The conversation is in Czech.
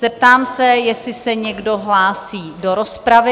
Zeptám se, jestli se někdo hlásí do rozpravy?